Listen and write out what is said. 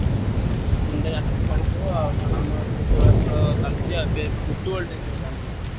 ତିନିଟା ଚାରିଟାରେ ଖେଳୁଥିବ ଆଉ ହଁ ଆମର ଏଠି ବି ସେଇଭଳିଆ ଖେଳ ଚାଲଚି ଆଉ ଏବେ Football ଟିକେ ଖେଳ ଆମର।